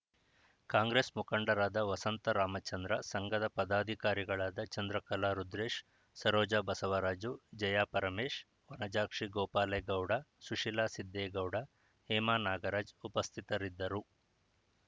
ಕಾಂಗ್ರೆಸ್‌ ಮುಖಂಡರಾದ ವಸಂತ ರಾಮಚಂದ್ರ ಸಂಘದ ಪದಾಧಿಕಾರಿಗಳಾದ ಚಂದ್ರಕಲಾ ರುದ್ರೇಶ್‌ ಸರೋಜ ಬಸವರಾಜು ಜಯಾ ಪರಮೇಶ್‌ ವನಜಾಕ್ಷಿ ಗೋಪಾಲೇಗೌಡ ಸುಶೀಲಾ ಸಿದ್ದೇಗೌಡ ಹೇಮಾ ನಾಗರಾಜ್‌ ಉಪಸ್ಥಿತರಿದ್ದರು